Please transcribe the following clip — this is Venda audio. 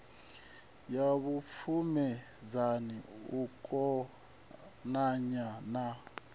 ya vhupfumedzani u konanya na